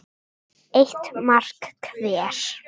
Eitt mark hver.